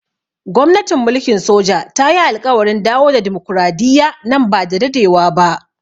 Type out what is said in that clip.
Gwamnatin mulkin soja ta yi alƙawarin dawo da dimokuradiyya nan ba da dadewa ba.